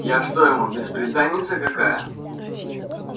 я что ему бесприданница какая